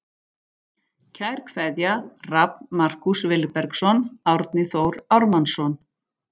Kær kveðja Rafn Markús Vilbergsson Árni Þór Ármannsson